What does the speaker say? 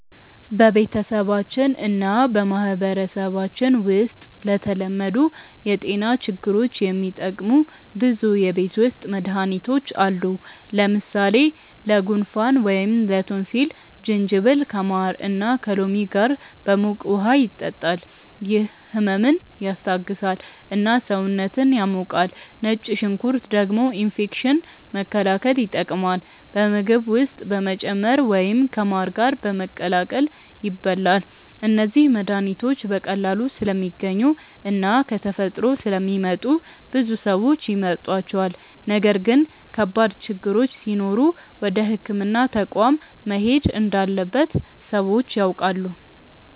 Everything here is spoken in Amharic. በቤተሰባችን እና በማህበረሰባችን ውስጥ ለተለመዱ የጤና ችግሮች የሚጠቀሙ ብዙ የቤት ውስጥ መድሃኒቶች አሉ። ለምሳሌ ለጉንፋን ወይም ላቶንሲል ጅንጅብል ከማር እና ከሎሚ ጋር በሙቀት ውሃ ይጠጣል፤ ይህ ህመምን ያስታግሳል እና ሰውነትን ያሞቃል። ነጭ ሽንኩርት ደግሞ ኢንፌክሽን መከላከል ይጠቀማል፣ በምግብ ውስጥ በመጨመር ወይም ከማር ጋር በመቀላቀል ይበላል። እነዚህ መድሃኒቶች በቀላሉ ስለሚገኙ እና ከተፈጥሮ ስለሚመጡ ብዙ ሰዎች ይመርጧቸዋል። ነገር ግን ከባድ ችግሮች ሲኖሩ ወደ ሕክምና ተቋም መሄድ እንዳለበት ሰዎች ያውቃሉ።